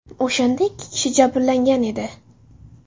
O‘shanda ikki kishi jabrlangan edi.